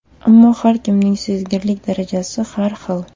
Ammo har kimning sezgirlik darajasi har xil.